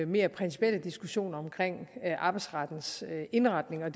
mere principielle diskussioner omkring arbejdsrettens indretning og